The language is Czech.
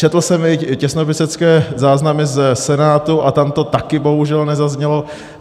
Četl jsem i těsnopisecké záznamy ze Senátu a tam to taky bohužel nezaznělo.